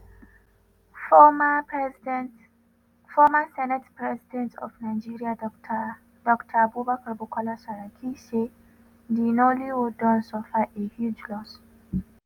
former senate president of nigeria dr dr abubakar bukola saraki say di nollywood don suffer a huge loss.